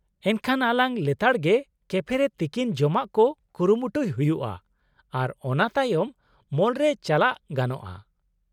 - ᱮᱱᱠᱷᱟᱱ ᱟᱞᱟᱝ ᱞᱮᱛᱟᱲ ᱜᱮ ᱠᱮᱯᱷ ᱨᱮ ᱛᱤᱠᱤᱱ ᱡᱚᱢᱟᱜ ᱠᱚ ᱠᱩᱨᱩᱢᱩᱴᱩᱭ ᱦᱩᱭᱩᱜᱼᱟ ᱟᱨ ᱚᱱᱟᱛᱟᱭᱚᱢ ᱢᱚᱞ ᱨᱮ ᱪᱟᱞᱟᱜ ᱜᱟᱱᱚᱜᱼᱟ ?